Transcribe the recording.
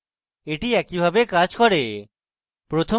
এটি একইভাবে কাজ করে